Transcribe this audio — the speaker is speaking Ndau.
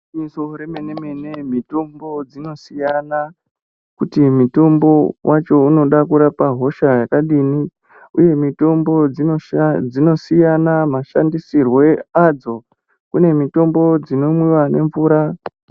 Igwinyiso remene-mene mitombo dzinosiyana kuti mitombo wachounoda kurapa hosha yakadini uye mitombo dzinosiyana mashandisirwe adzo kune mitombo dzinomwiwa nemvura.